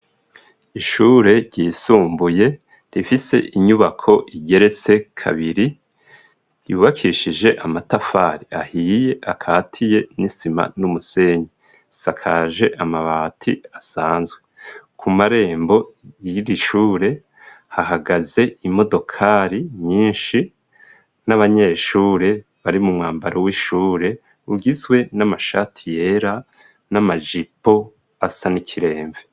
Ishure ryisumbuye rifise inyubako igeretse kabiri ryubakishije amatafari ahiye akatiye nisima n'umusenyi siakaje amabati asanzwe ku marembo y'irishure hahagaze imodokari ni minshi n'abanyeshure bari mu mwambaro w'ishure ugiswe n'amashati yera n'amajipo asa n'ikiremve.